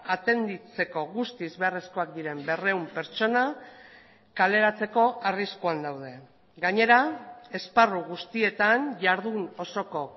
atenditzeko guztiz beharrezkoak diren berrehun pertsona kaleratzeko arriskuan daude gainera esparru guztietan jardun osoko